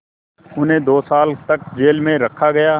उन्हें दो साल तक जेल में रखा गया